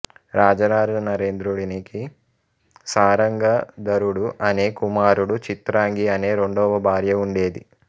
రాజరాజనరేంద్రుడినికి సారంగధరుడు అనే కుమారుడు చిత్రాంగి అనే రెండవ భార్య ఉండేది